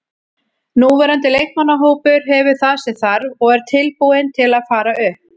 Núverandi leikmannahópur hefur það sem þarf og er tilbúinn til að fara upp.